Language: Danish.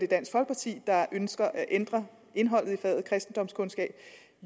dansk folkeparti der ønsker at ændre indholdet i faget kristendomskundskab